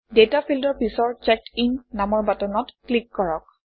data ফিল্ডৰ পিছৰ চেকডিন নামৰ বাটনত ক্লিক কৰক